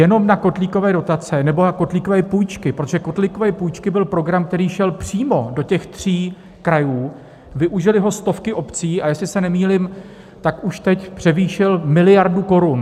Jenom na kotlíkové dotace nebo na kotlíkové půjčky - protože kotlíkové půjčky byl program, který šel přímo do těch tří krajů, využily ho stovky obcí, a jestli se nemýlím, tak už teď převýšil miliardu korun.